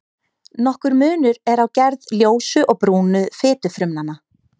Nokkur munur er á gerð ljósu og brúnu fitufrumnanna.